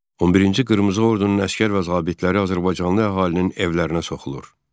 11-ci qırmızı ordunun əsgər və zabitləri azərbaycanlı əhalinin evlərinə soxulur.